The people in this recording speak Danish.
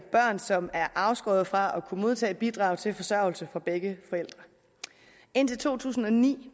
børn som er afskåret fra at kunne modtage bidrag til forsørgelse fra begge forældre indtil to tusind og ni